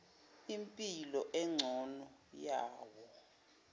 impilo engcono yawo